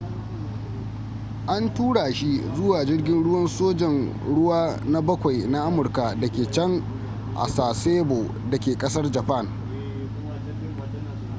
an tura shi zuwa jirgin ruwan sojan ruwa na bakawi na amurka da ke can a sasebo da ke kasar japan